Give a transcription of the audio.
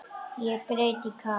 Ég græt í kafi.